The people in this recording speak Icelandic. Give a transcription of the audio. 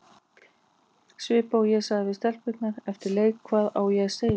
Svipað og ég sagði við stelpurnar eftir leik, hvað á ég að segja?